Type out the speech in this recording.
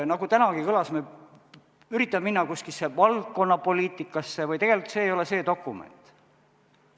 Nagu tänagi kõlas, kui üritada minna valdkonnapoliitikasse, siis tegelikult see ei ole see dokument.